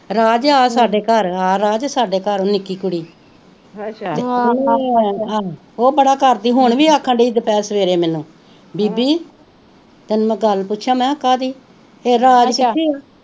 ਰਾਜ ਆ ਸਾਡੇ ਘਰ ਆ ਰਾਜ ਸਾਡੇ ਘਰ ਨਿੱਕੀ ਕੁੜੀ ਉਹ ਬੜਾ ਕਰਦੀ ਹੁਣ ਵੀ ਆਖਣ ਡਈ ਦਪਹੇਰ ਸਵੇਰੇ ਮੈਨੂੰ ਬੀਬੀ ਤੈਨੂੰ ਮੈ ਗੱਲ ਪੁਛਾ ਮਹਾ ਕਾਦੀ ਰਾਜ ਕਿਥੇ ਆ